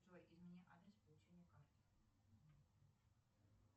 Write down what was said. джой измени адрес получения карты